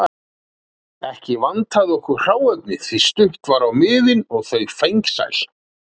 Ekki vantaði okkur hráefni því að stutt var á miðin og þau fengsæl.